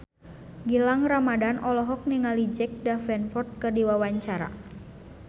Gilang Ramadan olohok ningali Jack Davenport keur diwawancara